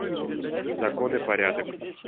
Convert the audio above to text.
закон и порядок